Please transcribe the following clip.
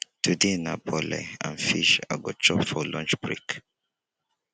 today na bole and fish i go chop for lunch break